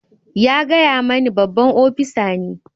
Ya gaya mani babban opisa ne.